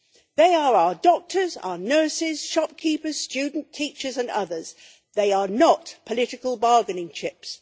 They are doctors, nurses, shopkeepers, students, teachers and others they are not political bargaining chips.